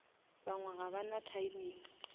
bangwe ga ba na timing